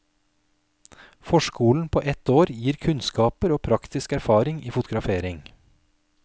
Forskolen på ett år gir kunnskaper og praktisk erfaring i fotografering.